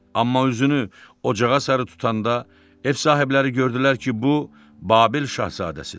Amma üzünü ocağa sarı tutanda ev sahibləri gördülər ki, bu Babil şahzadəsidir.